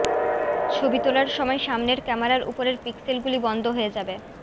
ছবি তোলার সময় সামনের ক্যামেরার উপরের পিক্সেলগুলি বন্ধ হয়ে যাবে